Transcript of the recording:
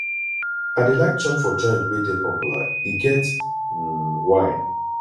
i dey like chop for joint wey dey popular e get um why